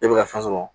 E bɛ ka fɛn sɔrɔ